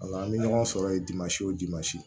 Wala an bɛ ɲɔgɔn sɔrɔ yen